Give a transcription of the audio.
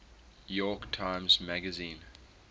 york times magazine